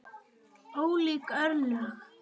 Ólík örlög.